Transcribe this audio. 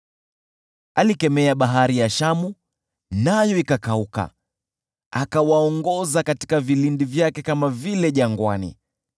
Alikemea Bahari ya Shamu, nayo ikakauka, akawaongoza katika vilindi vyake kama vile jangwani.